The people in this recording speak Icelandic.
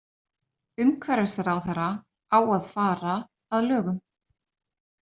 Umhverfisráðherra á að fara að lögum